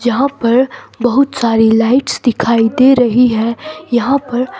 जहां पर बहुत सारी लाइट्स दिखाई दे रही है यहां पर--